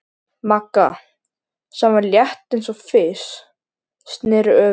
Magga, sem var létt eins og fis, sneri öfugt.